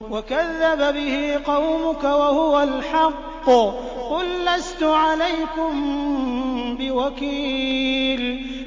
وَكَذَّبَ بِهِ قَوْمُكَ وَهُوَ الْحَقُّ ۚ قُل لَّسْتُ عَلَيْكُم بِوَكِيلٍ